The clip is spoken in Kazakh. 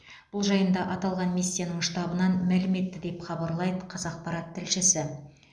бұл жайында аталған миссияның штабынан мәлім етті деп хабарлайды қазақпарат тілшісі